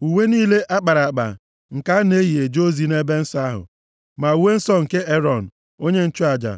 uwe niile a kpara akpa nke a na-eyi eje ozi nʼebe nsọ ahụ, ma uwe nsọ nke Erọn, onye nchụaja